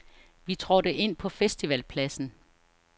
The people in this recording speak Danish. Vi trådte ind på festivalpladsen.